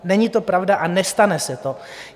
Není to pravda a nestane se to!